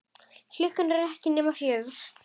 Klukkan er ekki nema fjögur.